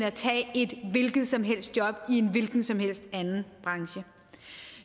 at tage et hvilket som helst job i en hvilken som helst anden branche